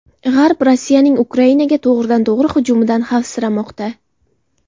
G‘arb Rossiyaning Ukrainaga to‘g‘ridan-to‘g‘ri hujumidan xavfsiramoqda.